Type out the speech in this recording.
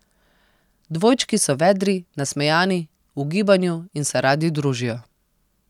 Dvojčki so vedri, nasmejani, v gibanju in se radi družijo.